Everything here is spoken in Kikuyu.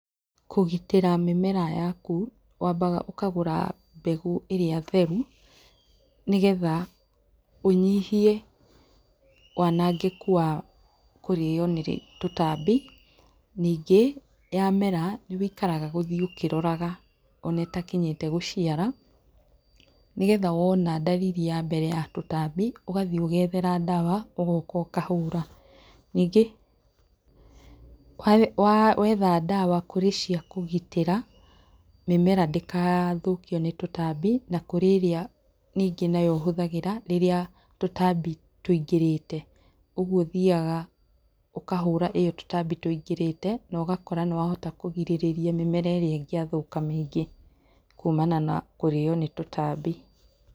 Kũgitĩra mĩmera yaku, wambaga ũkagũra mbegũ ĩrĩa theru nĩgetha ũnyihie wanangĩku wa kũrĩu nĩtũtambi. Nyingĩ yamera nĩwĩikaraga gũthiĩ ũkĩroraga ona ĩtakinyĩte gũciara, nĩgeetha wona ndariri yambere ya tũtambi ũgathiĩ ũgethera ndawa ũgoka ũkahũra. Ningĩ wetha ndawa , kũrĩ ciakũgitĩra mĩmera ndĩgathũkio nĩtũtambi, na kũrĩ ĩrĩa nyingĩ nayo ũhũthagĩra rĩrĩa tũtambi tũingĩrĩte. ũguo ũthiaga ũkahũra ĩo tũtambi tũingĩrĩte, ũgakora nĩwahota kũgirĩrĩria mĩmera ĩrĩa ĩngĩa thũka mĩingĩ kumana na kũrĩo nĩ tũtambi.